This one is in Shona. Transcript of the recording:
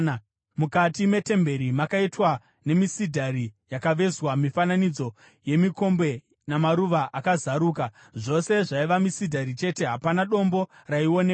Mukati metemberi makaitwa nemisidhari yakavezwa mifananidzo yemikombe namaruva akazaruka. Zvose zvaiva misidhari chete, hapana dombo raionekwa.